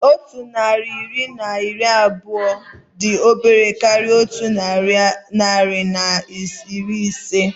Otu narị naira na iri abụọ dị obere karịa otu narị na iri ise